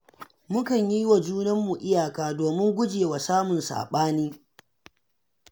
Mukan yi wa junanmu iyaka domin guje wa samun saɓani